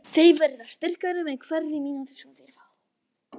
Þeir verða sterkari með hverri mínútu sem þeir fá.